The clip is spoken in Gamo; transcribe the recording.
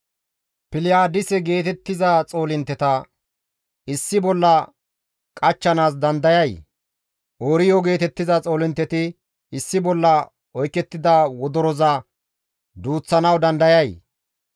«Piliyaadise geetettiza xoolintteta issi bolla qachchanaas dandayay? Ooriyo geetettiza xoolintteti issi bolla oykettida wodoroza duuththanawu dandayay?